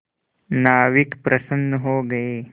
नाविक प्रसन्न हो गए